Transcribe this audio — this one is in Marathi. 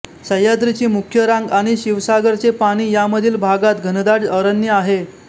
सह्याद्रीची मुख्य रांग आणि शिवसागराचे पाणी यामधील भागात घनदाट अरण्य आहे